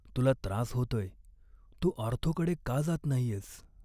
तुला त्रास होतोय. तू ऑर्थोकडे का जात नाहीयेस?